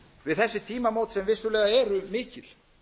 við þessi tímamót sem vissulega eru mikil